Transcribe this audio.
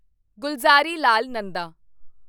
Gulzarilal Nanda